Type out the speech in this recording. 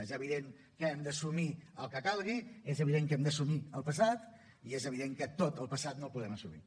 és evident que hem d’assumir el que calgui és evident que hem d’assumir el passat i és evident que tot el passat no el podem assumir